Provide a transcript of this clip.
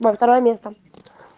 на второе место